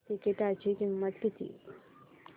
तिकीटाची किंमत किती